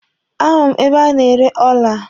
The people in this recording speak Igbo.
A hụrụ m ebe a na-ere ọla.